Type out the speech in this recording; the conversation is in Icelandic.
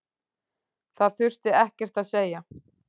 Það þurfti ekkert að segja.